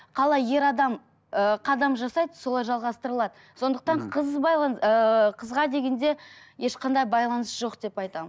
қалай ер адам ыыы қадам жасайды солай жалғастырылады сондықтан қыз ыыы қызға дегенде ешқандай байланыс жоқ деп айтамын